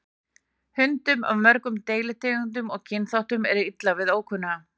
Hundum af mörgum deilitegundum eða kynþáttum er illa við ókunnuga.